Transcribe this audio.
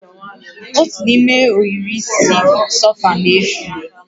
Otu n'ime ohiri isi sofa na-efu